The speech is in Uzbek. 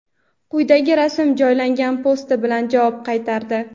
quyidagi rasm joylangan posti bilan javob qaytardi).